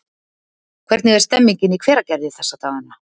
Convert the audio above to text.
Hvernig er stemningin í Hveragerði þessa dagana?